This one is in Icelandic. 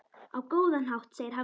Á góðan hátt, segir Hafdís.